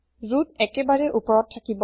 root একেবাৰে ওপৰত থাকিব